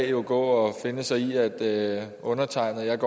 jo gå og finde sig i at undertegnede